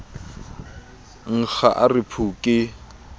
nkga a re phu ke